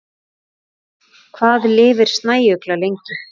Hvað lifir snæugla lengi?